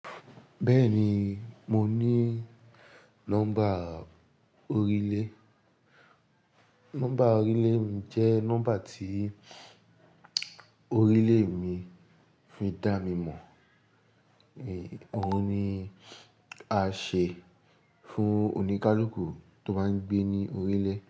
Bẹ́ẹ̀ni, mo ní nọ́mbà orílẹ̀. Nọ́mbà orílẹ̀ mi jẹ́ nọ́mbà tí orílẹ̀ mi fi dá mi mọ̀. Èè, òun ni a ṣe fún oníkálukú tó bá ń gbé ní orílẹ̀